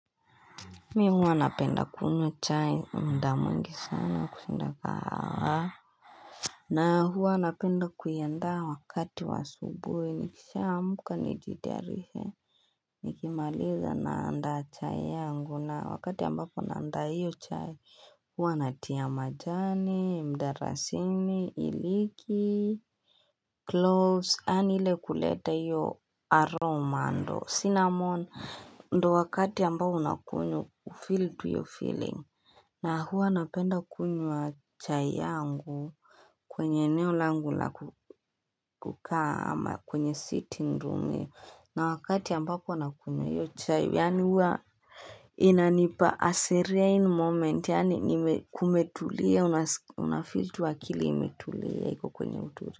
Mimu hua napenda kunywa chai, muda mwingi sana kushinda kahawa. Na huwa napenda kuiandaa wakati wa asubuhi. Nikishaamka nijitayarishe Nikimaliza naandaa chai yangu na wakati ambapo naandaa hiyo chai Huwa natia majani, mdalasini, iliki, cloves, yaani ile kuleta hiyo aroma Sinamon, ndo wakati ambayo nakunywa, feel to your feeling. Na huwa napenda kunywa chai yangu kwenye eneolangu la kukaa ama kwenye sitting room. Na wakati ambapo nakunywa, hiyo chai. Yani huwa inanipa a serin moment. Yani kumetulia, unafeel tu akili imetulia. Iko kwenye uturi.